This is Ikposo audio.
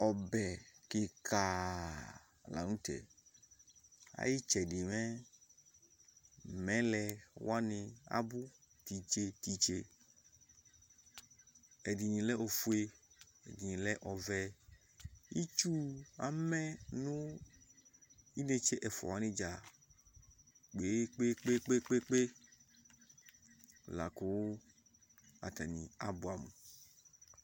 Ɔbɛ kɩka la nʋ tɛ Ayʋ ɩtsɛdɩ mɛ mɛlɛ wanɩ abʋ tʋ itse nʋ tʋ itse Ɛdɩnɩ lɛ ofue, ɛdɩnɩ lɛ ɔvɛ Itsu amɛ nʋ inetse ɛfʋa wanɩ dza kpe-kpe-kpe La kʋ atanɩ abʋɛamʋ